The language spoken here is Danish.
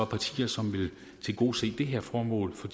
partier som vil tilgodese det her formål for